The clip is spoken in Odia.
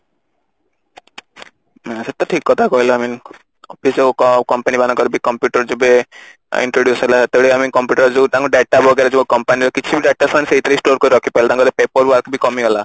ସେ ତ ଠିକ କଥା କହିଲ I mean office ଆଉ company ମାନଙ୍କର computer ଯେବେ introduce ହେଲା ସେତେତବେଳେ I mean computer ଆମେ ଯୋଉ ତାଙ୍କୁ data ବଗେରା ଯୋଉ company ର କିଛି ବି data ସେମାନେ ସେଇଥିରେ store କରିକି ରଖି ପାରିଲେ ତାଙ୍କର ତ paper wok ବି କମିଗଲା